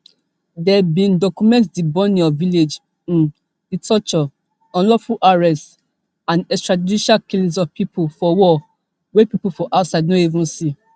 dem bin document di burning of village um di torture unlawful arrests and extrajudicial killings of pipo for war wey pipo for outside no even see